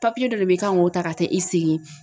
Papiye dɔ de be yen i kan k'o ta ka taa e sigi